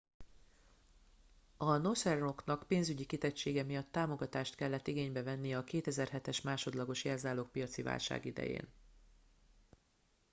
a northern rocknak ​pénzügyi kitettsége miatt támogatást kellett igénybe vennie a 2007-es másodlagos jelzálogpiaci válság idején